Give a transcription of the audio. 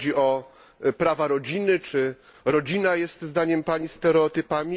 Czy chodzi o prawa rodziny, czy rodzina jest zdaniem Pani stereotypem?